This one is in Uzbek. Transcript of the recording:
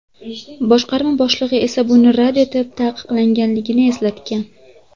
Boshqarma boshlig‘i esa buni rad etib, taqiqlanganligini eslatgan.